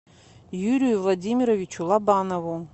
юрию владимировичу лобанову